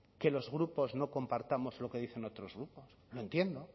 que los grupos no compartamos lo que dicen otros grupos lo entiendo